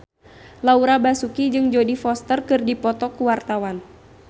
Laura Basuki jeung Jodie Foster keur dipoto ku wartawan